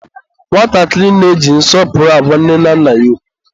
nwatakịrị na-eji nsọpụrụ agwa nne na nna ya okwu.